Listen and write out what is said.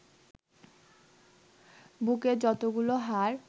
বুকের যতগুলো হাড়